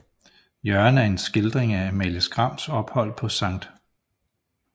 Jørgen er en skildring af Amalie Skrams ophold på Skt